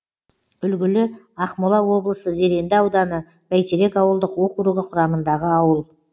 үлгілі ақмола облысы зеренді ауданы бәйтерек ауылдық округі құрамындағы ауыл